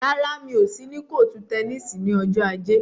Rárá, mi ò sí ní kọ́ọ̀tù tẹníìsì ní ọjọ́ ajé.